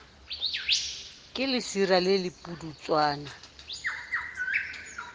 ke lesira le le pudutswana